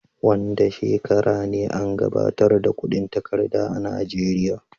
Wanda shekara ne an gabatar da kudin takarda a najeria?